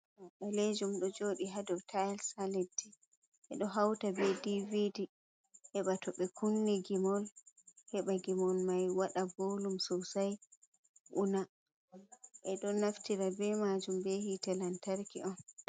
Ɓalejum do jofi hado tiles ha leddi ɓedo hauta be dvd, heba towɓe kunni gimol heɓa gimol mai waɗa volum sosai una ɓeɗo naftira be majum be hite lantarki on.